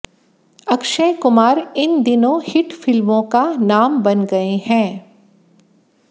अक्षय कुमार इन दिनों हिट फिल्मों का नाम बन गए हैं